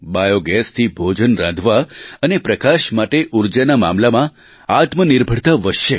બાયૉગેસથી ભોજન રાંધવા અને પ્રકાશ માટે ઊર્જાના મામલામાં આત્મનિર્ભરતા વધશે